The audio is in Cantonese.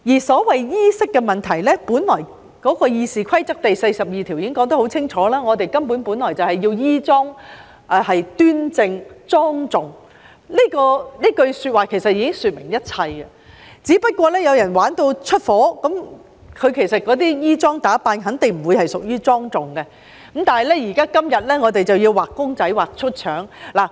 所謂衣飾的問題，本來《議事規則》第42條已經說得很清楚，我們本來就要衣裝端正和莊重，這句說話其實已說明一切，只是有人玩出火，其實那些衣裝打扮肯定不屬於莊重，但我們今天要"畫公仔畫出腸"。